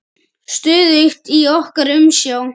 Stöðugt í okkar umsjá.